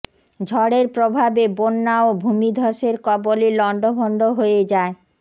ঝড়ের প্রভাবে বন্যা ও ভূমিধসের কবলে লণ্ডভণ্ড হয়ে যায়